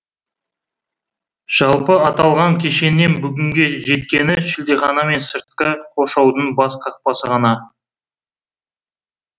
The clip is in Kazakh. жалпы аталған кешеннен бүгінге жеткені шілдехана мен сыртқы қоршаудың бас қақпасы ғана